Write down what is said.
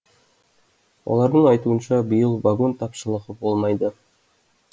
олардың айтуынша биыл вагон тапшылығы болмайды